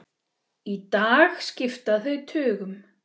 Í dag skipta þau tugum.